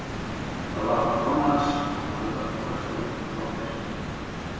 Það var frá konu hans og hafði borist honum um hádegisbil.